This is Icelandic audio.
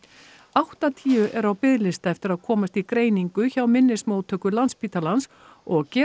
áttatíu eru á biðlista eftir að komast í greiningu hjá minnismóttöku Landspítalans og gera